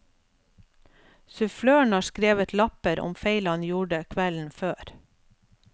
Suffløren har skrevet lapper om feil han gjorde kvelden før.